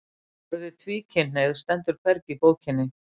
Orðið tvíkynhneigð stendur hvergi í bókinni